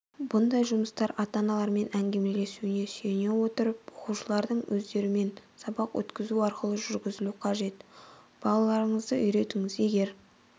бұндай жұмыстар ата-аналарымен әңгімелесуіне сүйене отырып оқушылардың өздерімен сабақ өткізу арқылы жүргізілу қажет балаларыңызды үйретіңіз егер